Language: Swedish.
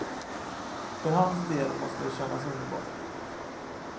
För hans del måste det kännas underbart.